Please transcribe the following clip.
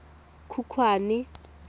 khukhwane